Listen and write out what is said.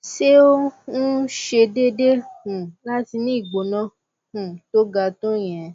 sé ó um ṣe déédé um láti ní ìgbóná um tó ga tó ìyẹn